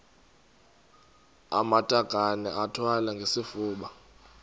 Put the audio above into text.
amatakane iwathwale ngesifuba